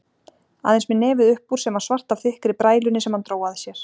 Aðeins með nefið uppúr sem var svart af þykkri brælunni sem hann dró að sér.